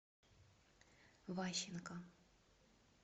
ващенко